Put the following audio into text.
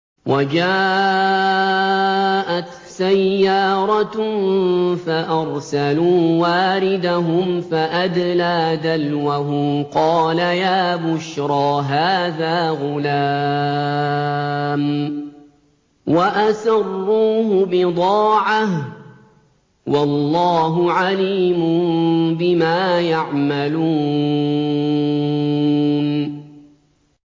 وَجَاءَتْ سَيَّارَةٌ فَأَرْسَلُوا وَارِدَهُمْ فَأَدْلَىٰ دَلْوَهُ ۖ قَالَ يَا بُشْرَىٰ هَٰذَا غُلَامٌ ۚ وَأَسَرُّوهُ بِضَاعَةً ۚ وَاللَّهُ عَلِيمٌ بِمَا يَعْمَلُونَ